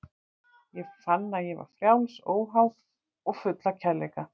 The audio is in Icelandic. Ég fann að ég var frjáls, óháð og full af kærleika.